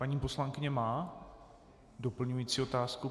Paní poslankyně má doplňující otázku.